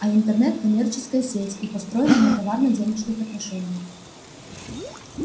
а интернет коммерческая сеть и построена на товарно-денежных отношениях